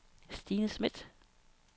Stine Smith